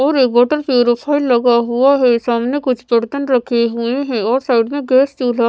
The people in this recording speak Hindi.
और एक वाटर प्यूरोफायर लगा हुआ है सामने कुछ बर्तन रखे हुए हैं और साइड में गैस चूल्हा --